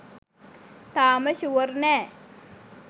තාම ෂුවර් නෑ